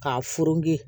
K'a furugu